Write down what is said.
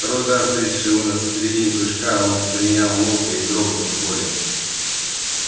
второй удар встретивший его на середине прыжка он принял молча не дрогнув от боли